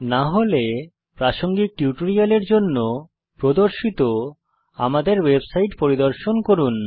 না হলে প্রাসঙ্গিক টিউটোরিয়ালের জন্য প্রদর্শিত আমাদের ওয়েবসাইট পরিদর্শন করুন